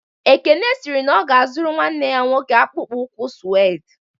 Ekene sịrị na ọ ga-azụrụ nwanne ya nwoke akpụkpọ ụkwụ suede